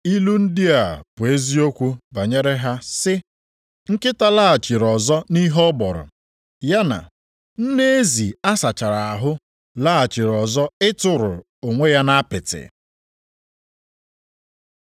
Ilu ndị a bụ eziokwu banyere ha sị, “Nkịta laghachiri ọzọ nʼihe ọ gbọrọ,” + 2:22 \+xt Ilu 26:11\+xt* ya na, “Nne ezi a sachara ahụ laghachiri ọzọ ịtụrụ onwe ya nʼapịtị.”